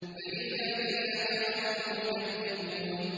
بَلِ الَّذِينَ كَفَرُوا يُكَذِّبُونَ